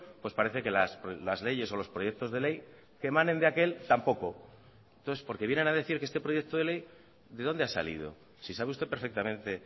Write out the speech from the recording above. pues parece que las leyes o los proyectos de ley que emanen de aquel tampoco entonces porque vienen a decir que este proyecto de ley de dónde ha salido si sabe usted perfectamente